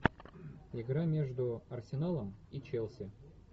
игра между арсеналом и челси